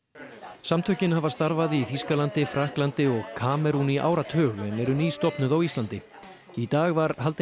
samtökin hafa starfað í Þýskalandi Frakklandi og Kamerún í áratug en eru nýstofnuð á Íslandi í dag var haldin